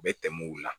Bɛ tɛmɛ u la